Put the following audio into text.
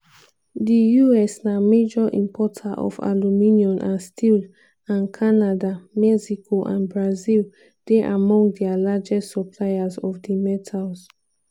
di us na major importer of aluminium and steel and canada mexico and brazil dey among dia largest suppliers of di metals.